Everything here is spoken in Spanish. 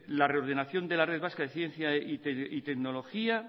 la reordenación de la red vasca de ciencia y tecnología